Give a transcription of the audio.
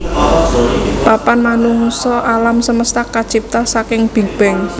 Papan manungsa alam semesta kacipta saking Big Bang